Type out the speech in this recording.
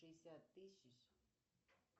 пятьдесят тысяч